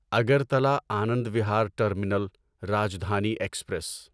Agartala Anand Vihar terminal Rajdhani express